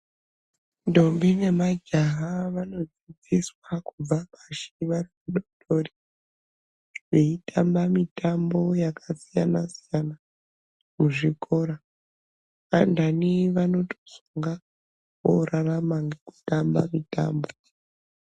Ndombi nemajaha vanofundiswa kubva pashi vachiri vana vadoodori. Veitamba mitambo yakasiyana siyana muzvikora. Vanthani vanozonga voorarama ngekutamba mitambo.